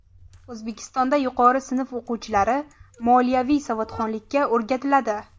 O‘zbekistonda yuqori sinf o‘quvchilari moliyaviy savodxonlikka o‘rgatiladi.